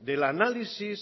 del análisis